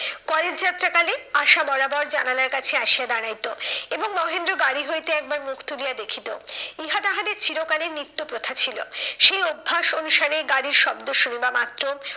College যাত্রা কালে আশা বরাবর জানালার কাছে আসিয়া দাড়াইতো এবং মহেন্দ্র গাড়ি হইতে একবার মুখ তুলিয়া দেখিতো। ইহা তাহাদের চিরকালের নিত্য প্রথা ছিল। সেই অভ্যাস অনুসারে গাড়ির শব্দ শুনবা মাত্র,